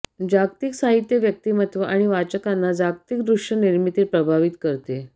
जागतिक साहित्य व्यक्तिमत्व आणि वाचकांना जागतिक दृश्य निर्मिती प्रभावित करते